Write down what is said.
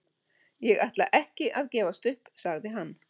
Ég ætla ekki að gefast upp, sagði hann.